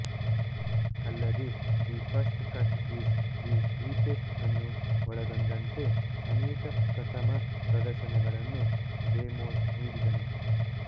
ಅಲ್ಲದೇ the first cut is the deepest ಅನ್ನು ಒಳಗೊಂಡಂತೆ ಅನೇಕ ಪ್ರಥಮ ಪ್ರದರ್ಶನಗಳನ್ನು ಡೆಮೋಸ್ ನೀಡಿದನು